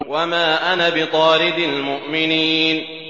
وَمَا أَنَا بِطَارِدِ الْمُؤْمِنِينَ